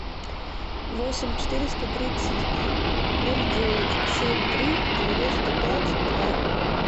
восемь четыреста тридцать ноль девять семь три девяносто пять два